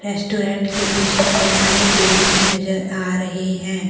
Restaurant के पीछे बहुत सारे पेड़ भी नजर आ रहे हैं।